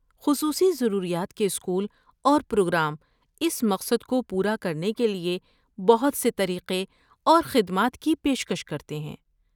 خصوصی ضروریات کے اسکول اور پروگرام اس مقصد کو پورا کرنے کے لیے بہت سے طریقے اور خدمات کی پیشکش کرتے ہیں۔